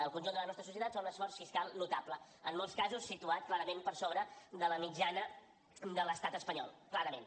el conjunt de la nostra societat fa un esforç fiscal notable en molts casos situat clarament per sobre de la mitjana de l’estat espanyol clarament